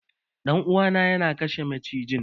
Dan uwa na ya kashe macijin.